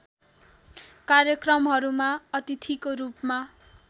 कार्यक्रमहरूमा अतिथिको रूपमा